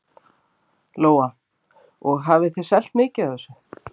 Lóa: Og hafið þið selt mikið af þessu?